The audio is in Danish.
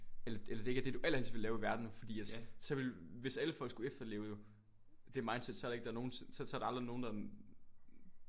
Eller eller det ikke er det du allerhelst vil være i verden fordi at så ville hvis alle folk skulle efterleve jo det mindset så er der ikke der nogen så er der aldrig nogen der